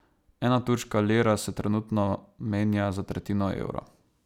Ena turška lira se trenutno menja za tretjino evra.